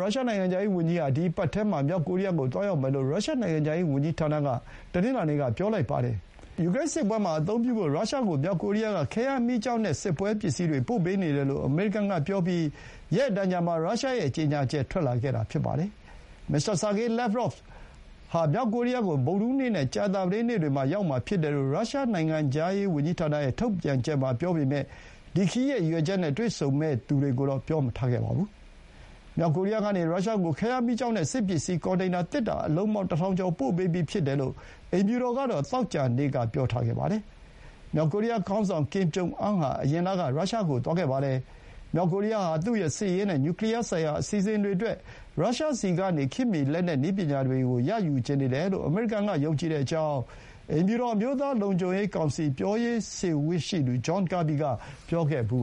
ရုရှားနိုင်ငံခြားရေးဝန်ကြီးဟာ ဒီအပတ်ထဲမှာ မြောက်ကိုရီးယားကို သွားရောက်မယ်လို့ ရုရှားနိုင်ငံခြားရေးဝန်ကြီးဌာနက တနင်္လာနေ့က ပြောပါတယ်။ ယူကရိန်းစစ်ပွဲမှာအသုံးပြုဖို့ ရုရှားကို မြောက်ကိုရီးယားက ခဲယမ်းမီးကျောက်နဲ့ စစ်ပစ္စည်းတွေ ပို့ပေးနေတယ်လို့ အမေရိကန်ကပြောပြီး ရက်အတန်ကြာမှာ ရုရှားရဲ့ ကြေညာချက်ထွက်လာတာပါ။ မစ္စတာ ဆာဂေး လက်ဗ်ရော့ဗ် (Sergey Lavrov) ဟာ မြောက်ကိုရီးယားကို ဗုဒ္ဓဟူးနေ့နဲ့ ကြာသပတေးနေ့တွေ မှာ ရောက်မှာဖြစ်တယ်လို့ ရုရှားနိုင်ငံခြားရေးဝန်ကြီးဌာနရဲ့ ထုတ်ပြန်ချက်မှာ ပြောပေမဲ့ ဒီခရီးရဲ့ရည်ရွယ်ချက်နဲ့ တွေ့ဆုံမယ့်သူတွေကိုတော့ ပြောမထားပါဘူး။ မြောက်ကိုရီးယားကနေ ရုရှားကို ခဲယမ်းမီးကျောက်နဲ့ စစ်ပစ္စည်းကွန်တိန်နာ သေတ္တာအလုံးပေါင်း ၁,၀၀၀ ကျော်ပို့ပေးပြီး ဖြစ်တယ်လို့ အိမ်ဖြူတော်ကတော့ သောကြာနေ့က ပြောထားပါတယ်။ မြောက်ကိုရီးယားခေါင်းဆောင် ကင်ဂျုံအမ်းဟာ အရင်လက ရုရှားကို သွားခဲ့ပါတယ်။ မြောက်ကိုရီးယားဟာ သူ့ရဲ့ စစ်ရေးနဲ့ နျူကလီယာဆိုင်ရာ အစီအစဥ်တွေအတွက် ရုရှားဆီကနေ ခေတ်မီ လက်နက်နည်းပညာတွေကို ရယူချင်နေတယ်လို့ အမေရိကန်က ယုံကြည်ကြောင်း အိမ်ဖြူတော် အမျိုးသားလုံခြုံရေးကောင်စီ ပြောရေးဆိုခွင့်ရှိသူ ဂျွန် ကာဘီ John Kirby က ပြောခဲ့ဖူး